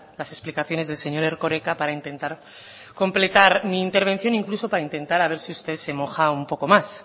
las explicaciones del señor erkoreka para intentar completar mi intervención incluso para intentar a ver si usted se moja un poco más